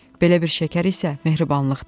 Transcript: Belə bir şəkər isə mehribanlıqdır.